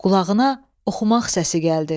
Qulağına oxumaq səsi gəldi.